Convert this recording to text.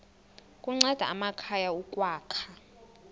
kunceda amakhaya ukwakha